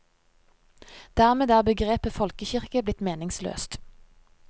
Dermed er begrepet folkekirke blitt meningsløst.